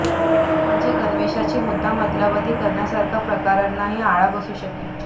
म्हणजे गणवेशाची मुद्दाम अदलाबदली करण्यासारख्या प्रकारांनाही आळा बसू शकेल